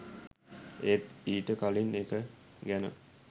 ඒත් ඊට කලින් එක ගැන